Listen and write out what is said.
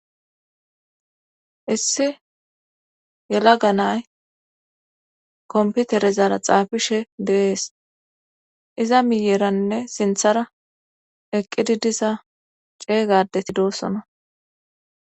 issi yelaga nay komputerezara xaafishe deees iza miyeeranne sinthara eqqidi diza ceeygadeti doossona